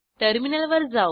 टर्मिनलवर जाऊ